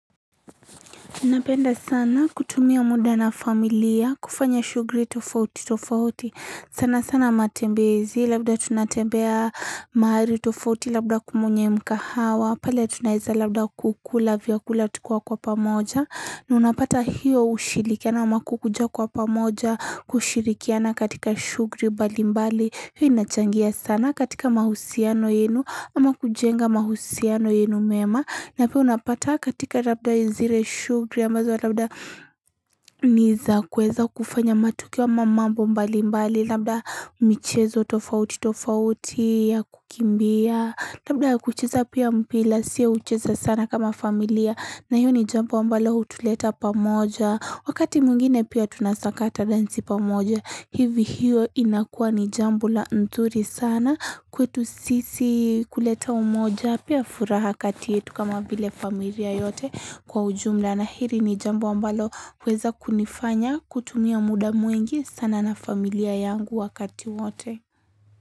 Napenda sana kutumia muda na familia kufanya shugri tofauti tofauti sana sana matembezi labda tunatembea maari tofauti labda kumunye mkahawa pale tunaeza labda kukula viakula tukiwa kwa pamoja na unapata hiyo ushirikiana ama kukuja kwa pamoja kushirikiana katika shugri bali mbali hiyo inachangia sana katika mahusiano yenu ama kujenga mahusiano yenu mema na pia unapata katika labda zire shugri ambazo labda niza kweza kufanya matukio ama mambo mbali mbali labda michezo tofauti tofauti ya kukimbia labda kucheza pia mpila siya ucheza sana kama familia na hiyo ni jambu ambalo utuleta pamoja wakati mwingine pia tunasakata dansi pamoja hivi hiyo inakuwa ni jambo la nzuri sana kwetu sisi kuleta umoja pia furaha katiyetu kama vile familia yote kwa ujumla na hiri ni jambo ambalo huweza kunifanya kutumia muda mwingi sana na familia yangu wakati wote.